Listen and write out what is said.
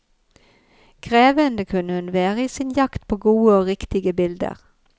Krevende kunne hun være i sin jakt på gode og riktige bilder.